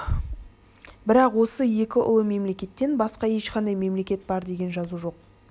бірақ осы екі ұлы мемлекеттен басқа ешқандай мемлекет бар деген жазу жоқ